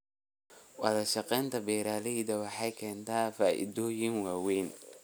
Wadashaqeynta beeralayda waxay keentaa faa'iidooyin waaweyn.